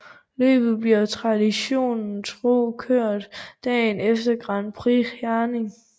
Løbet bliver traditionen tro kørt dagen efter Grand Prix Herning